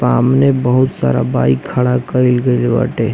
सामने बहुत सारा बाइक खड़ा काइल बाटे--